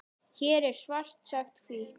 Hér er svart sagt hvítt.